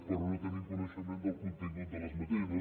però no tenim coneixement del contingut d’aquestes esmenes